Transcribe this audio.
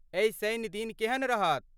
एहि शनि दिन केहन रहत?